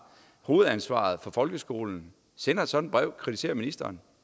hovedansvaret for folkeskolen sender sådan et brev kritiserer ministeren